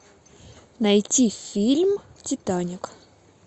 найти фильм титаник